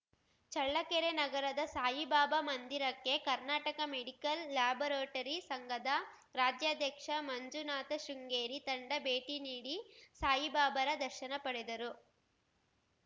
ಚಳ್ಳಕೆರೆ ನಗರದ ಸಾಯಿಬಾಬಾ ಮಂದಿರಕ್ಕೆ Karnataka medical laboratory ಸಂಘದ ರಾಜ್ಯಾಧ್ಯಕ್ಷ ಮಂಜುನಾಥಶೃಂಗೇರಿ ತಂಡ ಭೇಟಿ ನೀಡಿ ಸಾಯಿಬಾಬಾರ ದರ್ಶನ ಪಡೆದರು